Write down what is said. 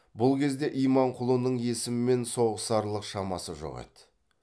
бұл кезде иманқұлының есіммен соғысарлық шамасы жоқ еді